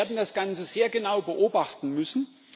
Wir werden das Ganze sehr genau beobachten müssen.